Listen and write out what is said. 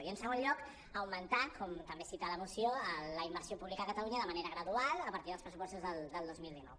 i en segon lloc augmentar com també cita la moció la inversió pública a catalunya de manera gradual a partir dels pressupostos del dos mil dinou